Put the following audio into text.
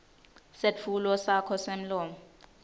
setfulo sakho semlomo